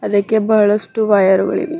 ಅದಕ್ಕೆ ಬಹಳಷ್ಟು ವೈರ್ ಗಳು ಇವೆ.